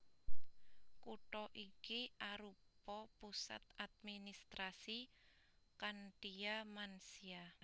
Kutha iki arupa pusat administrasi Khantia Mansia